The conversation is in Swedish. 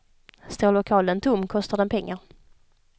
Står lokalen tom kostar den pengar.